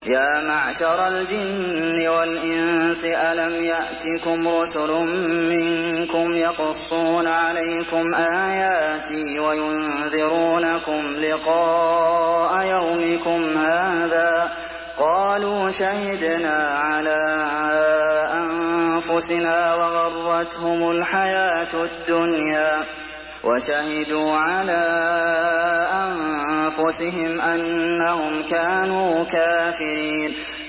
يَا مَعْشَرَ الْجِنِّ وَالْإِنسِ أَلَمْ يَأْتِكُمْ رُسُلٌ مِّنكُمْ يَقُصُّونَ عَلَيْكُمْ آيَاتِي وَيُنذِرُونَكُمْ لِقَاءَ يَوْمِكُمْ هَٰذَا ۚ قَالُوا شَهِدْنَا عَلَىٰ أَنفُسِنَا ۖ وَغَرَّتْهُمُ الْحَيَاةُ الدُّنْيَا وَشَهِدُوا عَلَىٰ أَنفُسِهِمْ أَنَّهُمْ كَانُوا كَافِرِينَ